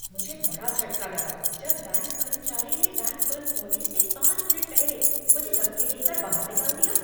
मुझे बड़ा झटका लगा जब बैंक कर्मचारी ने बैंक बंद होने से पाँच मिनट पहले मुझे धक्के देकर बाहर निकाल दिया।